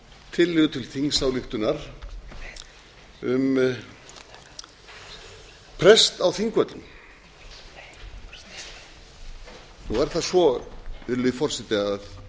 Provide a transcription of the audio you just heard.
tillögu til þingsályktunar um prest á þingvöllum nú er það svo virðulegi forseti að